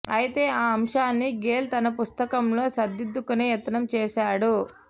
అయితే ఆ అంశాన్ని గేల్ తన పుస్తకంలో సరిదిద్దుకునే యత్నం చేశాడు